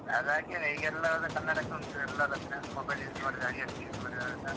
ಅದು ಹಾಗೇನೆ ಈಗೆಲ್ಲರತ್ರ ಕನ್ನಡಕ ಉಂಟು ಎಲ್ಲರತ್ರ mobile use ಮಾಡಿದ highest use ಮಾಡಿದ್ದಾರ್ ಅಂತ.